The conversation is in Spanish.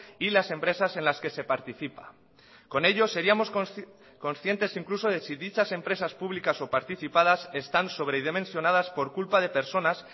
y las empresas en las que se participa con ello seríamos conscientes incluso de si dichas empresas públicas o participadas están sobredimensionadas por culpa de personas